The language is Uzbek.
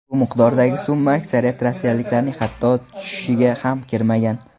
Bu miqdordagi summa aksariyat rossiyaliklarning hatto tushiga ham kirmagan.